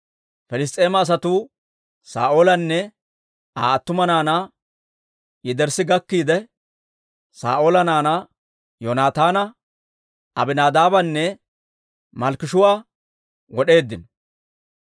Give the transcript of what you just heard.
Piliss's'eema asatuu Saa'oolanne Aa attuma naanaa yederssi gakkiide, Saa'oola naanaa Yoonataana, Abinaadaabanne Malkkishuu'a wod'eeddino.